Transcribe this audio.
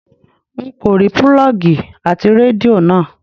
N kò rí púlọ́ọ́gì ti Rédíò náà.